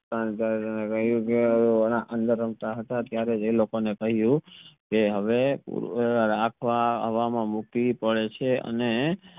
રમતા હતા ત્યરેહ આ લોકો ને કહયું કે હવે મૂકવી પડે છે અને